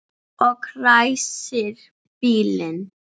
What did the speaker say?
Og ræsir bílinn.